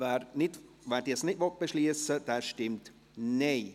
wer dies nicht beschliessen will, stimmt Nein.